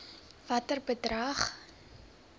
watter bedrag